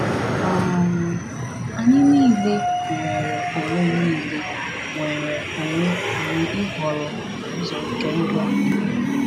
um Anyị niile nwere onwe niile nwere onwe anyị ịhọrọ ụzọ nke ndụ anyị.